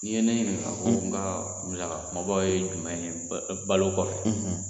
N'i ye ne ɲininka ko n ka musaka kunbabaw ye jumɛn ye balo kɔfɛ